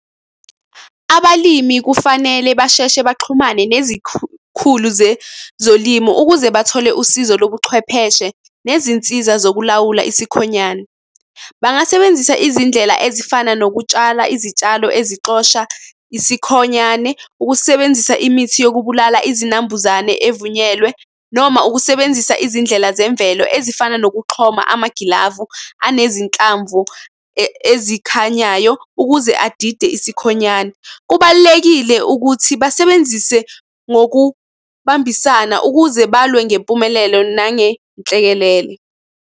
Abalimi kufanele basheshe baxhumane nezikhulu zolimo ukuze bathole usizo lobuchwepheshe nezinsiza zokulawula isikhonyana. Bangasebenzisa izindlela ezifana nokutshala izitshalo ezixosha isikhonyane, ukusebenzisa imithi yokubulala izinambuzane evunyelwe, noma ukusebenzisa izindlela zemvelo ezifana nokuxhoma amagilavu anezinhlamvu ezikhanyayo ukuze adide isikhonyane. Kubalulekile ukuthi basebenzise ngokubambisana ukuze balwe ngempumelelo nangenhlekelele.